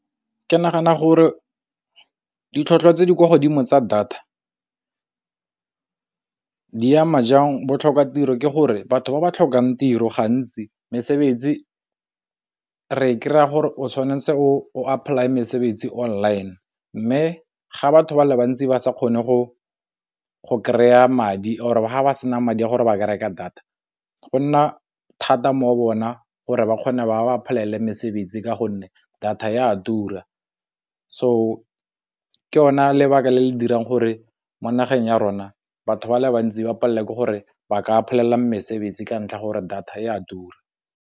Ke nagana gore ditlhotlhwa tse di kwa godimo tsa data di ama jang bo tlhoka tiro ke gore batho ba ba tlhokang tiro gantsi mesebetsi re kry-a gore o tshwanetse o apply mesebetsi online, mme ga batho ba le bantsi ba sa kgone go kry-a madi or ga ba sena madi a gore ba ke reka data go nna thata mo go bona gore ba kgone ba ba apply-ele mesebetsi ka gonne data e a tura. So ke yona lebaka le le dirang gore mo nageng ya rona batho ba le bantsi ba palelwa ke gore ba ka bolelela mesebetsi ka ntlha gore data e a tura.